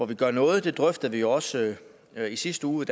vi gør noget det drøftede vi også i sidste uge i